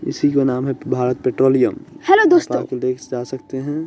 इसी को नाम है भारत पेट्रोलियम हेलो देख जा सकते हैं।